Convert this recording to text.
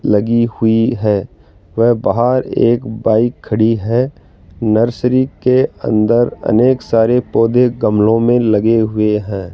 लगी हुई है वे बाहर एक बाइक खड़ी है नर्सरी के अंदर अनेक सारे पौधे गमलों में लगे हुए हैं।